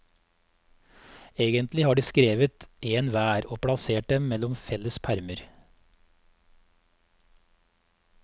Egentlig har de skrevet en hver, og plassert dem mellom felles permer.